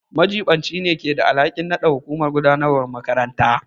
Majiɓinci ne keda alhakin nada hukumar gudanarwar makarantar.